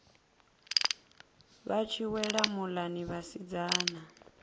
vha tshi wela muḽani vhasidzana